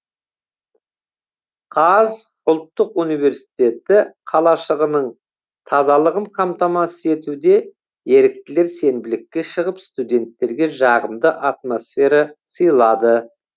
қаз ұлттық университеті қалашығының тазалығын қамтамасыз етуде еріктілер сенбілікке шығып студенттерге жағымды атмосфера сыйлады